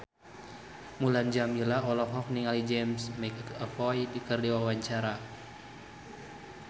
Mulan Jameela olohok ningali James McAvoy keur diwawancara